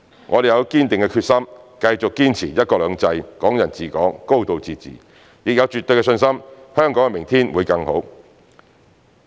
我們有堅定決心繼續堅持"一國兩制"、"港人治港"、"高度自治"，也有絕對信心香港的明天會更好。